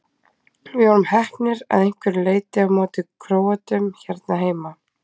Við vorum heppnir að einhverju leiti á móti Króötum hérna heima.